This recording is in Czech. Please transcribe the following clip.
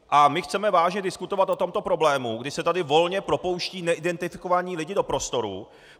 A my chceme vážně diskutovat o tomto problému, kdy se tady volně propouštějí neidentifikovaní lidé do prostoru.